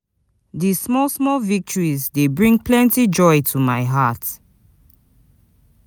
Di small small victories dey bring plenty joy to my heart.